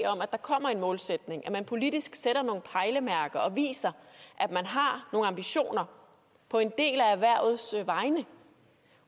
om at der kommer en målsætning at man politisk sætter nogle pejlemærker og viser at man har nogle ambitioner på en del af erhvervets vegne